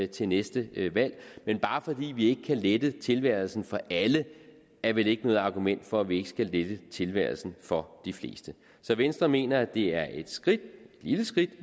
til næste valg men bare fordi vi ikke kan lette tilværelsen for alle er vel ikke noget argument for at vi ikke skal lette tilværelsen for de fleste så venstre mener at det er et skridt et lille skridt